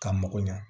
Ka mago ɲɛ